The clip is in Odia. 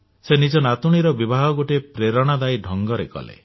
ସେ ନିଜ ନାତୁଣୀର ବିବାହ ଗୋଟିଏ ପ୍ରେରଣାଦାୟୀ ଢ଼ଙ୍ଗରେ କଲେ